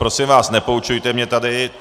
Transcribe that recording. Prosím vás, nepoučujte mě tady.